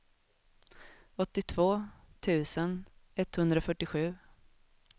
åttiotvå tusen etthundrafyrtiosju